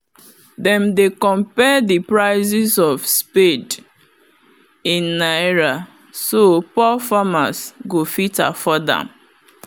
them dey compare the prices of spade in naira so poor farmers go fit afford am